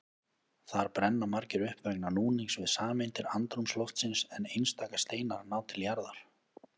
Þar brenna margir upp vegna núnings við sameindir andrúmsloftsins en einstaka steinar ná til jarðar.